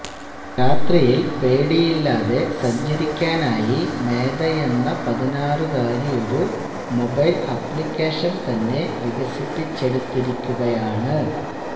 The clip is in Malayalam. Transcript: രാത്രിയില് പേടിയില്ലാതെ സഞ്ചരിക്കാനായി മേധയെന്ന പതിനാറുകാരി ാെരു മൊബൈല് ആപ്ലിക്കേഷന് തന്നെ വികസിപ്പിച്ചെടുത്തിരിക്കുകയാണ്